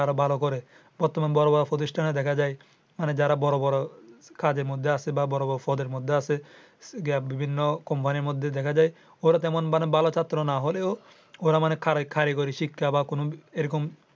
বর্তমানে বড় বড় প্রতিষ্ঠানে দেখা যায় যারা বড় বড় কাজের মধ্যে আছে বা বড় বড় পদের মধ্যে আছে বিভিন্ন company এর মধ্যে দেখা যায় ওরা তেমন ভালো ছাত্র না হলেও ওরা মানে কারীগরি শিক্ষা বা এরকম